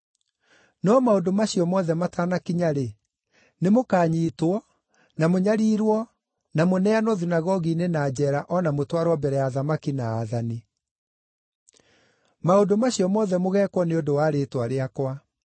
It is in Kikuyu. “No maũndũ macio mothe matanakinya-rĩ, nĩmũkanyiitwo, na mũnyariirwo na mũneanwo thunagogi-inĩ na njeera o na mũtwarwo mbere ya athamaki na aathani. Maũndũ macio mothe mũgeekwo nĩ ũndũ wa rĩĩtwa rĩakwa.